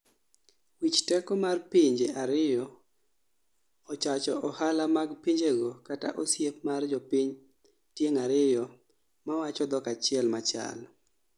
Wich teko mar pinje ariyo ochacho ohala mag pinjego kata osiep mar jopiny tieng' ariyo mawacho dhok achiel machal